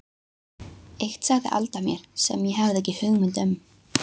Eitt sagði Alda mér sem ég hafði ekki hugmynd um.